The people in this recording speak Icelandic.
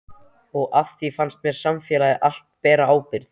Og á því fannst mér samfélagið allt bera ábyrgð.